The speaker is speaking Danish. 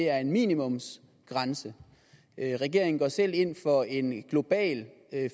er en minimumsgrænse regeringen går selv ind for en global